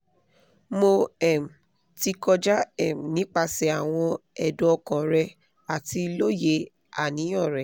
mo um ti kọja um nipasẹ awọn ẹdun ọkan rẹ ati loye aniyan rẹ